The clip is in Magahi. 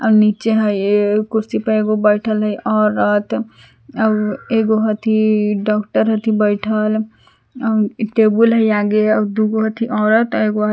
आर नीचे हइ एक कुर्सी पर एगो बैठल हइ औरत आर एगो हथी डॉक्टर हथी बैठल टेबल हइ आगे दुगो हइ औरत आर एगो हइ--